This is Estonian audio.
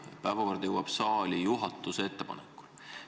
Päevakord jõuab saali juhatuse ettepanekul.